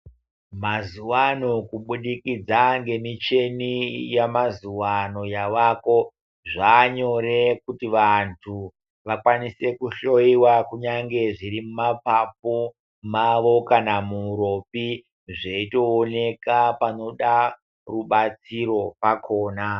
Mazuwano kubudikidza nemushini yamazuwano yaako zvavanyore kuti vantu vakwanise kuhloiwa kunyange zviri mumapapu mavo kana muuropi zveitooneka zveida rubatsiro rwakona.